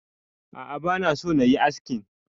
A'a bana so nayi askin